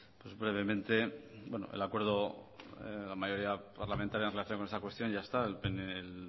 pues brevemente bueno el acuerdo de la mayoría parlamentaria en relación con esta cuestión ya está el